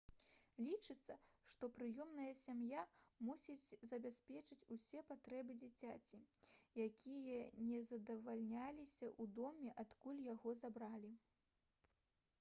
лічыцца што прыёмная сям'я мусіць забяспечыць усе патрэбы дзіцяці якія не задавальняліся ў доме адкуль яго забралі